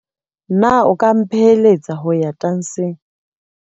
Na o ka mphelehetsa ho ya tantsheng?